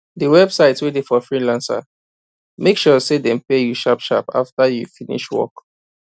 d website wey dey for freelancer make sure say dem pay you sharp after you finish work